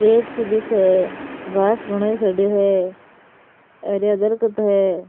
रेत सी दिखे है घास घणो ही खड़ो है हरया दरखत है।